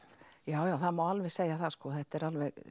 já já það má alveg sjá það þetta er